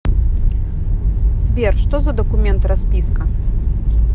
сбер что за документ расписка